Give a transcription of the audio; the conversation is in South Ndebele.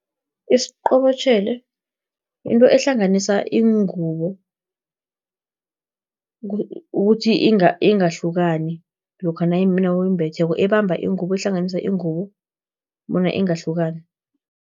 Isiqobotjhelo, yinto ehlanganisa ingubo, ukuthi ingahlukani, lokha nawuyimbetheko, ebamba ingubo, ehlanganisa ingubo, bona ingahlukani.